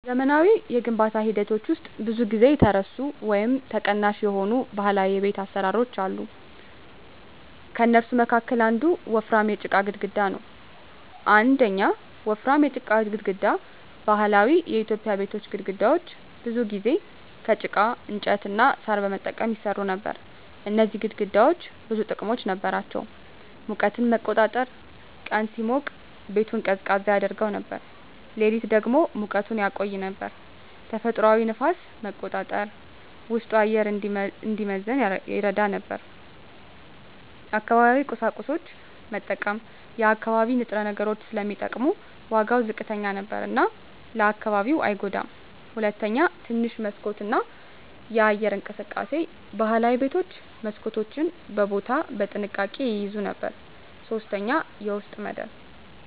በዘመናዊ የግንባታ ሂደቶች ውስጥ ብዙ ጊዜ የተረሱ ወይም ተቀናሽ የሆኑ ባህላዊ የቤት አሰራሮች አሉ። ከእነሱ መካከል አንዱ ወፍራም የጭቃ ግድግዳ ነው። 1. ወፍራም የጭቃ ግድግዳ በባህላዊ ኢትዮጵያዊ ቤቶች ግድግዳዎች ብዙ ጊዜ ከጭቃ፣ እንጨት እና ሣር በመጠቀም ይሰሩ ነበር። እነዚህ ግድግዳዎች ብዙ ጥቅሞች ነበራቸው፦ ሙቀትን መቆጣጠር – ቀን ሲሞቅ ቤቱን ቀዝቃዛ ያደርገው ነበር፣ ሌሊት ደግሞ ሙቀቱን ያቆይ ነበር። ተፈጥሯዊ ንፋስ መቆጣጠር – ውስጡ አየር እንዲመዘን ይረዳ ነበር። አካባቢያዊ ቁሳቁስ መጠቀም – የአካባቢ ንጥረ ነገሮች ስለሚጠቀሙ ዋጋው ዝቅተኛ ነበር እና ለአካባቢው አይጎዳም። 2. ትንሽ መስኮት እና የአየር እንቅስቃሴ ባህላዊ ቤቶች መስኮቶችን በቦታ በጥንቃቄ ይያዙ ነበር። 3. የውስጥ መደብ